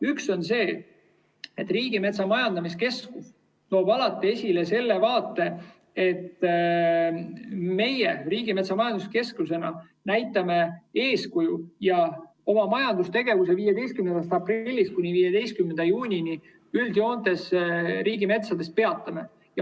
Üks on see, et Riigimetsa Majandamise Keskus toob alati esile selle vaate, et meie Riigimetsa Majandamise Keskusena näitame eeskuju ja oma majandustegevuse 15. aprillist kuni 15. juunini riigimetsas üldjoontes peatame.